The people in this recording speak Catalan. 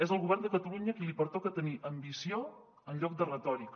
és al govern de catalunya a qui li pertoca tenir ambició en lloc de retòrica